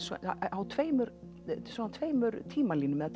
á tveimur tveimur tímalínum eða